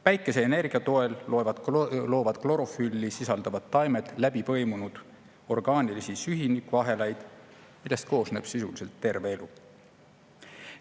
Päikeseenergia toel loovad klorofülli sisaldavad taimed läbipõimunud orgaanilisi süsinikuahelaid, millest koosneb sisuliselt terve elu.